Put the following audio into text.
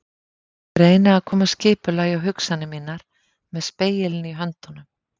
Ég reyni að koma skipulagi á hugsanir mínar með spegilinn í höndunum.